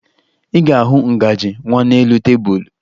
Ị ga-ahụ ngaji nwa n'elu tebulu